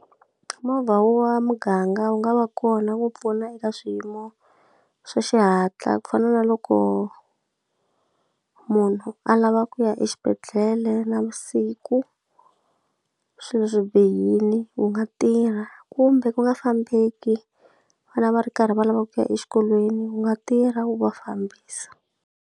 Movha wo wa muganga wu nga va kona ku pfuna eka swiyimo swa xihatla ku fana na loko munhu a lava ku ya exibedhlele na vusiku swilo swi bihile, wu nga tirha kumbe ku nga fambeki, vana va ri karhi va lavaka ku ya exikolweni wu nga tirha u va fambisa.